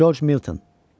George Milton.